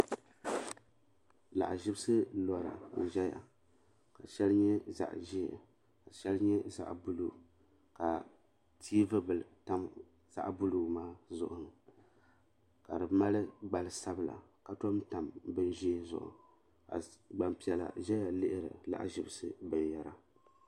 Lahaʒibsi lora n ʒɛya ka shɛli nyɛ zaɣa ʒee ka shɛli nyɛ zaɣa buluu ka tiivi bila tam zaɣa buluu maa zuɣu ka di mali gbali sabla ka tom tam bini ʒee zuɣu ka gbampiɛla zaya lihiri lahaʒibsi binyahiri.